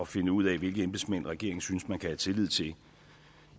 finde ud af hvilke embedsmænd regeringen synes man kan have tillid til